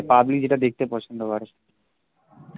public যেটা দেখতে পছন্দ করে